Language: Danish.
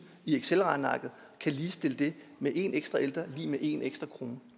i excelregnearket ligestille det med at en ekstra ældre er lig med en ekstra krone